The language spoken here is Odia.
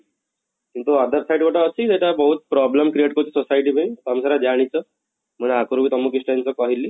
କିନ୍ତୁ other side ଗୋଟେ ଅଛି ସେଟା ବହୁତ problem create କରୁଛି society ପାଇଁ ତମେ ସେଇଟା ଜାଣିଛ, ମାନେ ଆଗରୁ ତମକୁ କିଛିଟା ଜିନିଷ କହିଲି